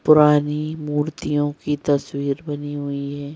पुरानी मूर्तियों की तस्वीर बनी हुई है।